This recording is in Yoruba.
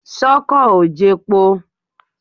Ṣọ́kọ̀ ò jepo?